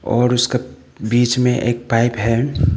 और उसका बीच में एक पाइप है।